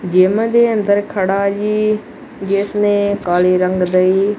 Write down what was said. gym ਦੇ ਅੰਦਰ ਖੜਾ ਜੀ ਜਿਸ ਨੇਂ ਕਾਲੇ ਰੰਗ ਦਈ--